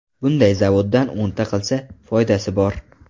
Bunday zavoddan o‘nta qilsa, foydasi bor.